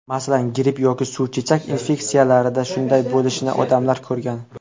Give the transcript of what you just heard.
Masalan, gripp yoki suvchechak infeksiyalarida shunday bo‘lishini odamlar ko‘rgan.